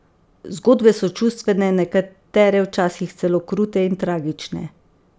Zgodbe so čustvene, nekatere včasih celo krute in tragične.